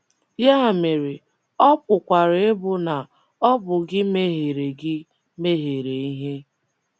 Ya mere, ọ pụkwara ịbụ na ọ bụ gị mehiere gị mehiere ihe.